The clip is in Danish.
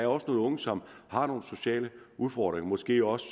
også nogle unge som har nogle sociale udfordringer måske også